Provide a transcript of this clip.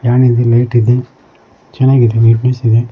ಹಾಗೂ ಇಲ್ಲಿ ಲೈಟ್ ಇದೆ ಚೆನ್ನಾಗಿದೆ.